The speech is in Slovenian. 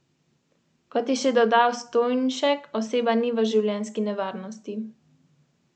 Na letni ravni so se znižale za šest odstotkov.